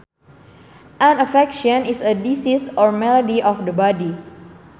An affection is a disease or malady of the body